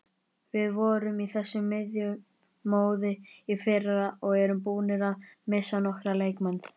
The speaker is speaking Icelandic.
Við vorum í þessu miðjumoði í fyrra og erum búnir að missa nokkra leikmenn.